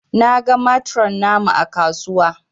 Na gan matron namu ã kasuwa.